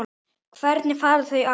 Hvernig fara þau að?